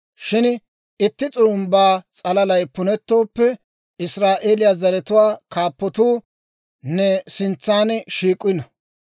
Shin itti s'urumbba s'alalay punettooppe, Israa'eeliyaa zaratuwaa kaappatuu ne sintsa shiik'ino.